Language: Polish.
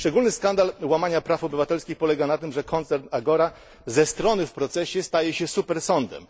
Szczególny skandal łamania praw obywatelskich polega na tym, że koncern Agora ze strony w procesie staje się supersądem.